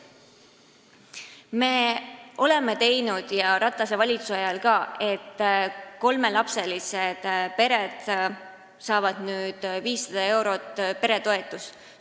Me oleme Ratase valitsuses teinud nii, et kolmelapselised pered saavad nüüd 500 eurot peretoetust.